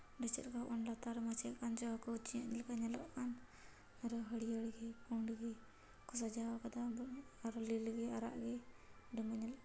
ᱟᱨᱦᱚ ᱦᱟᱹᱨᱭᱟᱹ ᱜᱤ ᱯᱩᱲ ᱜᱤ ᱠᱩ ᱥᱟᱡᱟᱣ ᱟᱠᱟᱫᱟ ᱟᱨᱦᱚ ᱞᱤᱞ ᱜᱤ ᱟᱨᱟᱜ ᱦᱮ ᱟᱹᱰᱤ ᱢᱚᱡᱽ ᱧᱮᱞᱚᱜ --